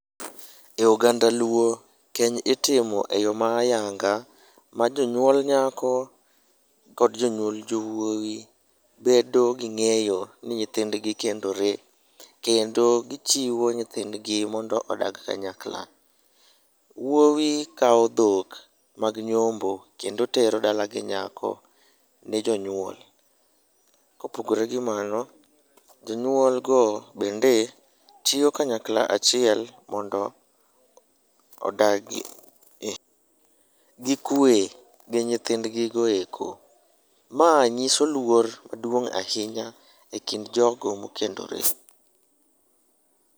E oganda luo, keny itimo e yo ma ayanga ma jonyuol nyako kod jonyuol jowuoyi bedo gi ng'eyo ni nyithindgi kendore. Kendo gichiwo nyithindgi mondo odag kanyakla. Wuowi kawo dhok mag nyombo kendo tero dalagi nyako ne jonyuol. Kopogore gi mano, jonyuol go bende chiwo kanyakla achiel mondo odagi gi kuwe gi nyithindgigo eko. Mae nyiso luor maduong' ahinya e kind jogo mokendore.